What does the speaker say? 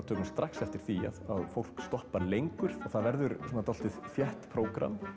tökum strax eftir því að fólk stoppar lengur það verður svona dálítið þétt prógramm